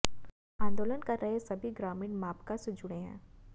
आंदोलन कर रहे सभी ग्रामीण माकपा से जुड़े हैं